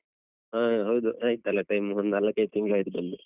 ಹಾ ಹೌದು ಆಯ್ತಲ್ಲ time ಒಂದು ನಾಲಕೈದು ತಿಂಗ್ಳಾಯ್ತು ಬಂದು.